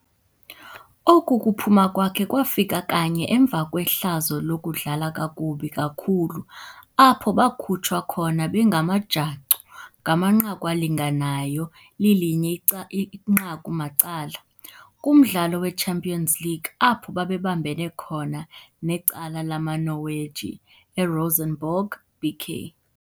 Oku kuphuma kwakhe kwafika kanye emva kwehlazo ludlala kakubi kakhulu apho bakhutshwa khona bengamajacu ngamanqaku alinganayo lilinye ica inqaku macala kumdlalo weChampions League apho babebambene khona necala lamaNorweji eRosenborg B.K..